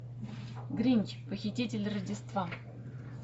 гринч похититель рождества